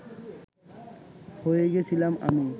হয়ে গেছিলাম আমি